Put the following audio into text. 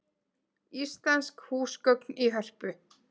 Íslensk húsgögn í Hörpu